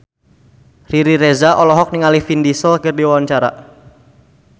Riri Reza olohok ningali Vin Diesel keur diwawancara